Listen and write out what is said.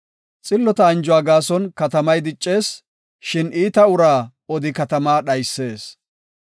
Xillota anjuwa gaason katamay diccees; shin iita uraa odi katamaa dhaysis.